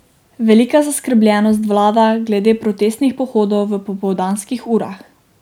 Velika zaskrbljenost vlada glede protestnih pohodov v popoldanskih urah.